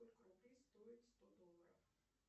сколько рублей стоит сто долларов